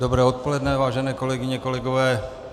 Dobré odpoledne, vážené kolegyně, kolegové.